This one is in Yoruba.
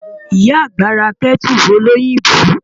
Ìyá àgbà ra Kẹ́tù lóyìngbò.